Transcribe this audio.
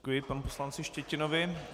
Děkuji panu poslanci Štětinovi.